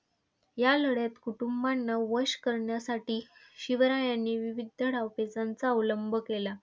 या लढ्यात कुटुंबांना वश करण्यासाठी शिवरायांनी विविध डावपेचांचा अवलंब केला.